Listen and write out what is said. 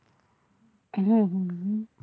હમ